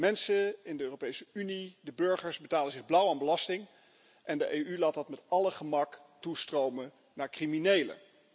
De mensen in de Europese Unie, de burgers, betalen zich blauw aan belastingen en de EU laat dat met alle gemak toestromen naar criminelen.